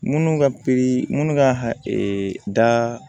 Minnu ka pikiri minnu ka da